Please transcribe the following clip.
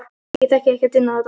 Ég þekki ekkert inn á þetta.